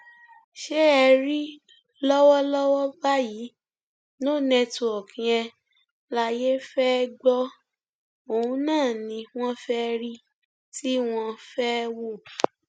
ṣé ẹ rí lọwọlọwọ báyìí no network yẹn láyé fẹẹ gbọ òun ni wọn fẹẹ rí tí wọn fẹẹ wò